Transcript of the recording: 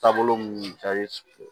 Taabolo mun